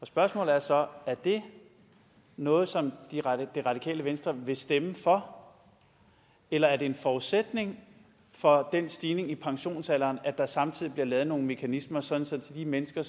spørgsmålet er så er det noget som det radikale venstre vil stemme for eller er det en forudsætning for den stigning i pensionsalderen at der samtidig bliver lavet nogle mekanismer sådan at de mennesker